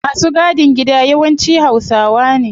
Masu gadin gida yawanci hausawa ne